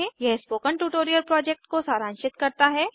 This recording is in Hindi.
यह स्पोकन ट्यूटोरियल प्रोजेक्ट को सारांशित करता है